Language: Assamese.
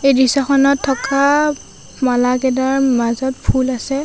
এই দৃশ্যখনত থকা মালাকেডাৰ মাজত ফুল আছে।